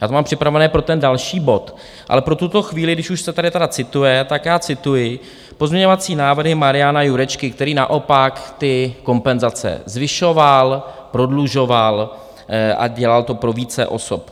Já to mám připravené pro ten další bod, ale pro tuto chvíli, když už se tady tedy cituje, tak já cituji pozměňovací návrhy Mariana Jurečky, který naopak ty kompenzace zvyšoval, prodlužoval a dělal to pro více osob.